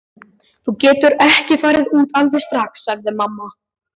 Þú getur ekki farið út alveg strax, sagði mamma.